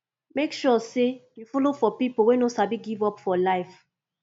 mek sure say yu follow for pipo wey no sabi give up for life